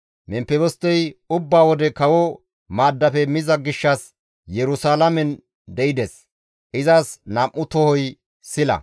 Memfebostey ubba wode kawo maaddafe miza gishshas Yerusalaamen de7ides; izas nam7u tohoti sila.